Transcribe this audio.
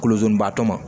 Kolozibaa tɔ ma